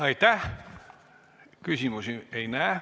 Aitäh ettekandjale!